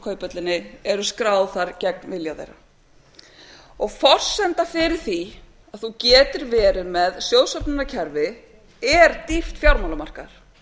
kauphöllinni eru skráð þar gegn vilja þeirra og forsenda fyrir því að þú eftir verið með sjóðsöfnunarkerfi er dýpt fjármálamarkaðar